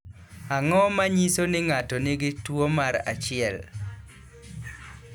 Ang’o ma nyiso ni ng’ato nigi tuwo mar 1?